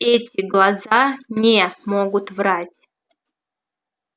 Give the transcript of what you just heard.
эти глаза не могут врать